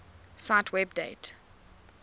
cite web date